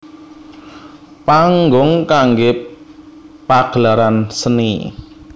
Panggung kanggé pagelaran seni